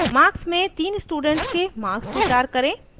* marks में तीन students के marks स्वीकार करें